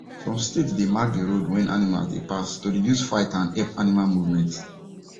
some state they mark the road when animals dey pass to reduce fight and help animal movement